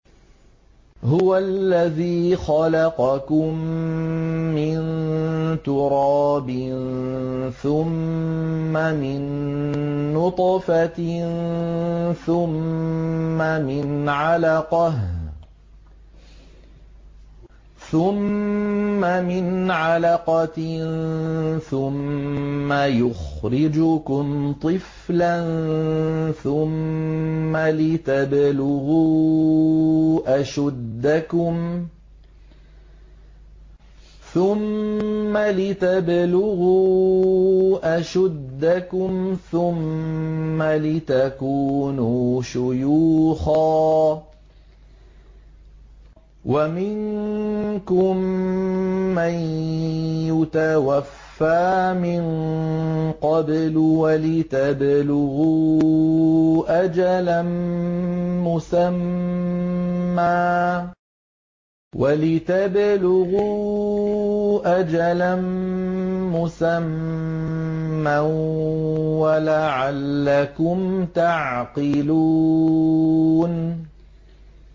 هُوَ الَّذِي خَلَقَكُم مِّن تُرَابٍ ثُمَّ مِن نُّطْفَةٍ ثُمَّ مِنْ عَلَقَةٍ ثُمَّ يُخْرِجُكُمْ طِفْلًا ثُمَّ لِتَبْلُغُوا أَشُدَّكُمْ ثُمَّ لِتَكُونُوا شُيُوخًا ۚ وَمِنكُم مَّن يُتَوَفَّىٰ مِن قَبْلُ ۖ وَلِتَبْلُغُوا أَجَلًا مُّسَمًّى وَلَعَلَّكُمْ تَعْقِلُونَ